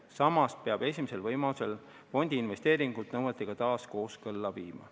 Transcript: Samas peab esimesel võimalusel fondi investeeringud nõuetega taas kooskõlla viima.